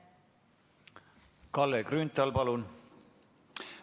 Kalle Grünthal, palun!